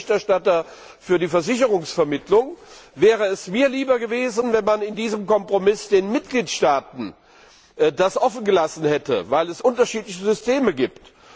Als Berichterstatter für die Versicherungsvermittlung wäre es mir lieber gewesen, wenn man das in diesem Kompromiss den Mitgliedstaaten überlassen hätte, weil es unterschiedliche Systeme gibt.